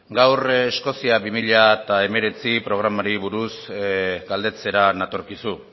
gaur eskozia bi mila hemeretzi programari buruz galdetzera natorkizu